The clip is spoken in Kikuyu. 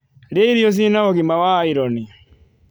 Ria irio ciina ugima wa iron